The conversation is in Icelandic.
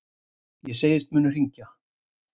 Ég segist munu hringja.